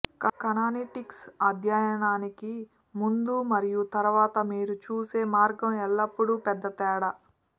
కానానిటిక్స్ అధ్యయనానికి ముందు మరియు తరువాత మీరు చూసే మార్గం ఎల్లప్పుడూ పెద్ద తేడా